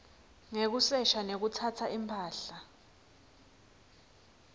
ngekusesha nekutsatsa imphahla